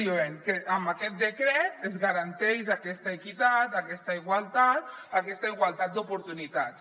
diuen que amb aquest decret es garanteix aquesta equitat aquesta igualtat aquesta igualtat d’oportunitats